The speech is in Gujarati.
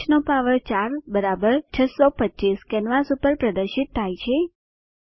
5 નો પાવર 4 બરાબર 625 કેનવાસ પર પ્રદર્શિત થાય છે